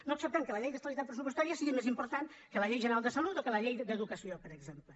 no acceptem que la llei d’estabilitat pressupostària sigui més important que la llei general de salut o que la llei d’educació per exemple